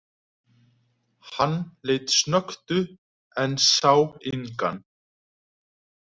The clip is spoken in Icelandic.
Hann leit snöggt upp, en sá engan.